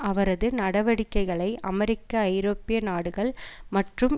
அவரது நடவடிக்கைகளை அமெரிக்க ஐரோப்பிய நாடுகள் மற்றும்